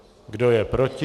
Kdo je proti?